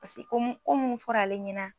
Paseke ko mun ko mun fɔra ale ɲɛna